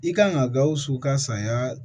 I kan ka gawusu ka saya